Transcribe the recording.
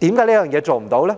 為何做不到呢？